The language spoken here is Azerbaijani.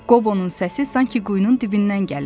Qobonun səsi sanki quyunun dibindən gəlirdi.